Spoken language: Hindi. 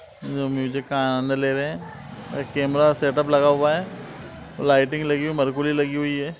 उम्म जो म्यूजिक का आनंद ले रहे हैं और कैमरा सेटअप लगा हुआ है लाइटिंग लगी हुई है मरक्युरी लगी हुई है।